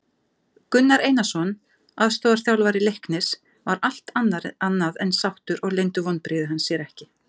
Gunnar Einarsson aðstoðarþjálfari Leiknis var allt annað en sáttur og leyndu vonbrigði hans sér ekki.